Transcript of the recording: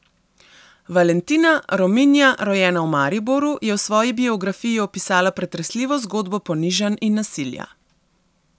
Valentina, Rominja, rojena v Mariboru, je v svoji biografiji opisala pretresljivo zgodbo ponižanj in nasilja.